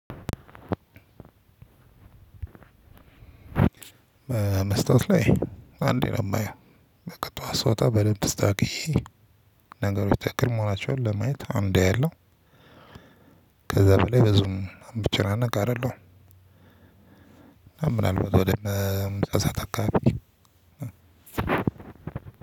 መስተዋት ላይ አንዴ ነው የማየው በቃ ጠዋት ስወጣ በደንብ ተስተካክዬ ነገሮች ትክክል መሆናቸውን ለማየት አንዴ ያለው። ከዛ በላይ ብዙም እምጨናነክ አይደለሁም። እና ምን አልባት ወደነ ምሳ ሰዓት አካባቢ